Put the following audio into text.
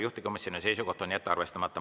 Juhtivkomisjoni seisukoht on jätta arvestamata.